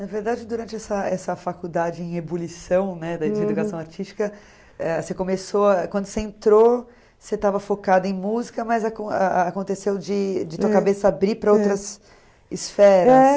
Na verdade, durante essa essa faculdade em ebulição, né, de educação artística, eh você começou, quando você entrou, você estava focada em música, mas acon a aconteceu de de tua cabeça abrir para outras esferas.